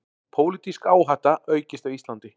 Pólitísk áhætta aukist á Íslandi